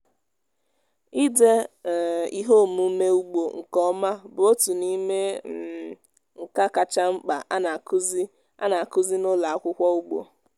ịde um ihe omume ugbo nke ọma bụ otu n'ime um nka kacha mkpa a na-akụzi a na-akụzi n'ụlọ akwụkwọ ugbo.